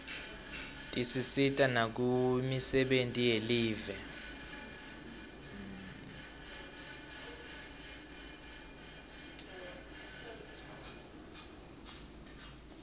tisisita nakumisebenti yelive